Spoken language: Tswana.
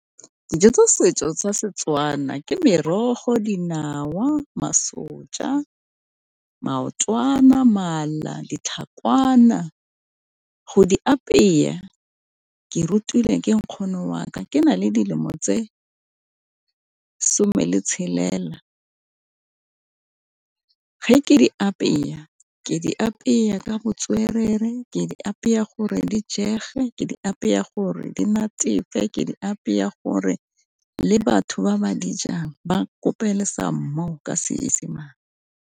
Dijo tsa setso sa Setswana ke merogo, dinawa, masonja, maotwana, mala, ditlhakwana, go di apea ke rutile ke nkgono wa ka ke na le dilemo tse some le tshelela. Ge ke di apea ke di apea ka botswerere ke di apea gore di jege, ke di apea gore di natefe, ke di apea gore le batho ba ba di jang ba kope le some more ka Seesemane.